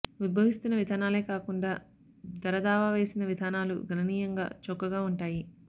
ఉద్భవిస్తున్న విధానాలే కాకుండా ధర దావా వేసిన విధానాలు గణనీయంగా చౌకగా ఉంటాయి